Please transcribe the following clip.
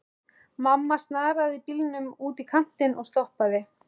Mamma snaraði bílnum út í kantinn og stoppaði.